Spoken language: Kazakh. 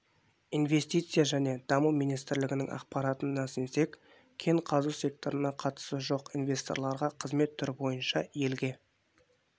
инвестиция және даму министрлігінің ақпаратын сенсек кен қазу секторына қатысы жоқ инвесторларға қызмет түрі бойынша елге